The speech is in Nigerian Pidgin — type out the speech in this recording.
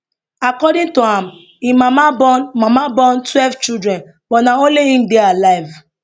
according to am im mama born mama born twelve children but na only im dey alive